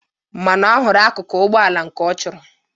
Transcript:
Mana ọ hụrụ akụkụ Ụgbọala nke ọ chọrọ.